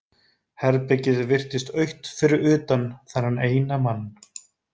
Herbergið virtist autt fyrir utan þennan eina mann.